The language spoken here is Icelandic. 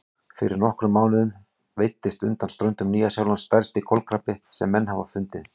Fyrir nokkrum mánuðum veiddist undan ströndum Nýja-Sjálands stærsti kolkrabbi sem menn hafa fundið.